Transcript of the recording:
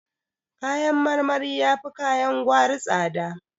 Kayan marmari yafi kayan gwari tsada